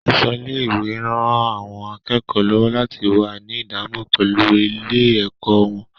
Aṣọ ilé-ìwé ń ran àwọn akẹ́kọ̀ọ́ lọ́wọ́ láti wà ní ìdánimọ̀ pẹ̀lú ilé-ẹ̀kọ́ wọn